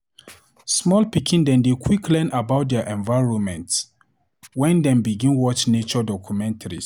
Small pikin dem dey quick learn about dier environment wen dem begin watch nature documentaries.